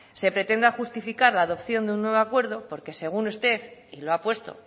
se pretenda justificar la adopción de un nuevo acuerdo porque según usted y lo ha puesto